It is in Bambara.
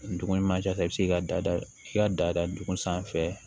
Dugu ɲuman jɛ i bɛ se k'i da i ka da duguma fɛn